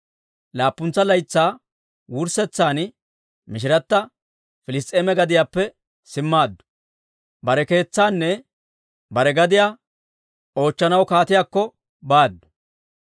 Laappuntsa laytsaa wurssetsan mishirata Piliss's'eema gadiyaappe simmaaddu. Bare keetsaanne bare gadiyaanne oochchanaw kaatiyaakko baaddu.